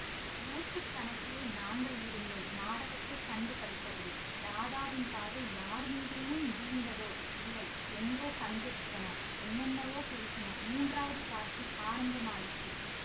நூற்று கணக்கிலே நாங்கள் இருந்தோம் நாடகத்தைக் கண்டு களித்தபடி ராதாவின் பார்வை யார் மீதேனும் வீழ்ந்ததோ இல்லை எங்கோ சஞ்சரித்தன என்னென்னவோ பேசின மூன்றாவது காட்சி ஆரம்பமாயிற்று